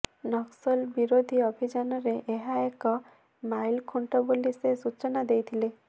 ନକ୍ସଲ ବିରୋଧୀ ଅଭିଯାନରେ ଏହା ଏକ ମାଇଲଖୁଣ୍ଡ ବୋଲି ସେ ସୂଚନା ଦେଇଥିଲେ